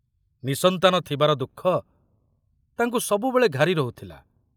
ନିଃସନ୍ତାନ ଥିବାର ଦୁଃଖ ତାଙ୍କୁ ସବୁବେଳେ ଘାରି ରହୁଥିଲା।